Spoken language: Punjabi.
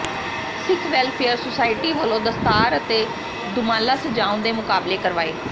ਸਿੱਖ ਵੈੱਲਫੇਅਰ ਸੁਸਾਇਟੀ ਵੱਲੋਂ ਦਸਤਾਰ ਅਤੇ ਦੁਮਾਲਾ ਸਜਾਉਣ ਦੇ ਮੁਕਾਬਲੇ ਕਰਵਾਏ